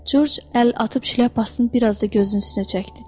Corc əl atıb şlyapasını biraz da gözünün üstünə çəkdi.